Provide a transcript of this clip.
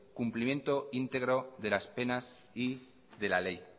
cumplimiento íntegro de las penas y de la ley